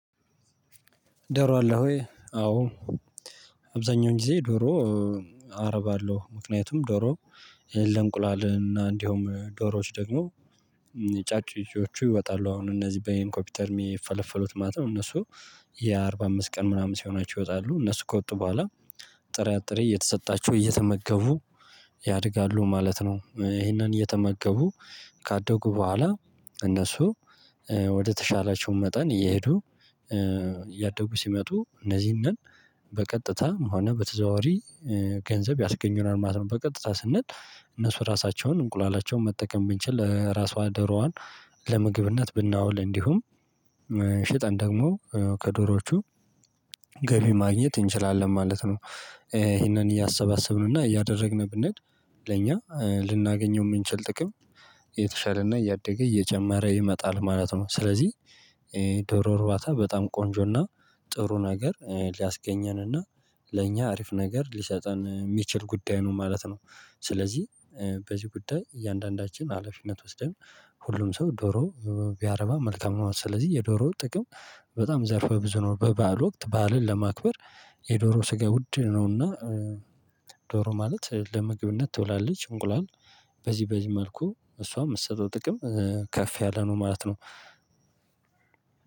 ዶሮ አለ ሆይ አዎ። አብዛኛውን ጊዜ ዶሮ። አረብአለው ምክንያቱም ዶሮ ለእንቁላል እና እንዲሁም ዶሮዎች ደግሞ። የጩጬዎቹ ይወጣሉ አሁን እነዚህ በኮቤተር የምፈለፈሉት ማለት ነው። እነሱ የአርባ አምስት ቀን ምናምን ሲሆናቸው ይወጣሉ እነሱ ከወጡ በኋላ። ጥራ ጥሬ እየተሰጣችሁ እየተመገቡ ያድጋሉ ማለት ነው። እሄንን እየተመገቡ ካደጉ በኋላ እነሱ ወደተሻላቸው መጠን እየሄዱ እያደጉ ሲመጡ እነዚህን በቀጥታ ሆነ በተዘዋዋሪ ገንዘብ ያስገኙናል ማለት ነው። በቀጥታ ስንል እነሱ ራሳቸውን እንቁላላቸውን መጠቀም ብንችል ራሷ ደሮዋን ለምግብነት ብናውል እንዲሁም ሽጠን ደግሞ ከዶሮዎቹ ገቢ ማግኘት እንችላለን ማለት ነው። እሄንን እያሰባሰብን እና እያደረግን ብንሄድ ለእኛ ልናገኘው የምንችል ጥቅም እየተሻለና እያደገ እየጨመረ ይመጣል ማለት ነው። ስለዚህ ዶሮ እርባታ በጣም ቆንጆና ጥሩ ነገር ሊያስገኘንና ለእኛ አሪፍ ነገር ሊሰጠን የሚችል ጉዳይ ነው ማለት ነው። ስለዚህ በዚህ ጉዳይ እያንዳንዳችን ሀላፊነት ወስደን ሁሉም ሰው ዶሮ ቢያረባ መልካም ነው። ስለዚህ የዶሮ ጥቅም በጣም ዘርፈ ብዙ ነው። በበዓል ወቅት በዓልን ለማክበር የዶሮ ስጋ ውድ ነውና። ዶሮ ማለት ለምግብነት ትውላለች። እንቁላል በዚህ በዚህ መልኩ እሷም የምትሰጠው ጥቅም ከፍ ያለ ነው ማለት ነው።